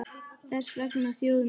Þess vegna þjóð mín!